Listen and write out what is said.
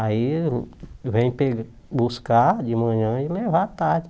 Aí vem pe buscar de manhã e levar à tarde.